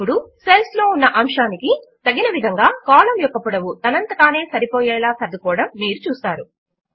ఇప్పుడు సెల్స్ లో ఉన్న అంశమునకు తగిన విధముగా కాలమ్ యొక్క పొడవు తనంత తానే సరిపోయేలా సర్దుకోవడము మీరు చూస్తారు